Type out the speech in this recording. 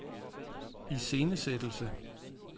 iscenesættelse